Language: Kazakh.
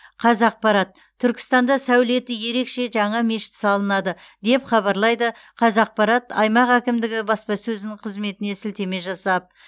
қазақпарат түркістанда сәулеті ерекше жаңа мешіт салынады деп хабарлайды қазақпарат аймақ әкімдігі баспасөзінің қызметіне сілтеме жасап